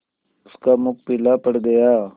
उसका मुख पीला पड़ गया